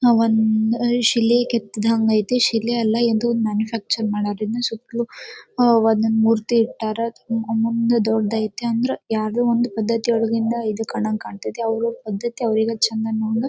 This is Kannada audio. ನಾವ್ ಒಂದು ಅಲ್ಲಿ ಶಿಲೆ ಕೆತ್ತಿದ ಹಂಗೈತೆ. ಶಿಲೆ ಅಲ್ಲ ಇದು ಮ್ಯಾನುಫ್ಯಾಕ್ಚರ್ ಮಾಡಿರೋದ್ರಿಂದ ಸುತ್ತಲೂ ಒಂದೊಂದ್ ಮೂರ್ತಿ ಇಟ್ಟರ ತುಂಬಾ ದೊಡ್ಡದ್ ಅಯ್ತ್ನಿ ಯಾವ್ದೋ ಒಂದ್ ಪದ್ದತಿಯಿಂದ ಇದು ಕಂಡಂಗ್ ಕಾಂತೈತಿ ಅವ್ರ ಪದ್ದತಿ ಅವ್ರಿಗಾ ಚೆಂದ ಅನ್ನೋ ಹಂಗ--